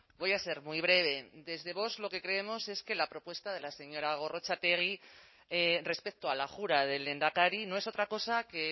voy a ser muy breve desde vox lo que creemos es que la propuesta de la señora gorrotxategi respecto a la jura del lehendakari no es otra cosa que